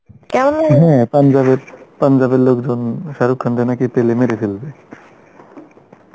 পাঞ্জাব, পাঞ্জাবের লোকজন শাহরুখ খান কে নাকি পেলে মেরে ফেলবে